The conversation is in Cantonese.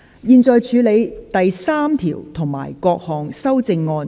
現在處理第3條及各項修正案。